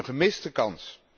Een gemiste kans.